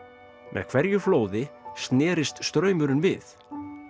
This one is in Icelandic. með hverju flóði snerist straumurinn við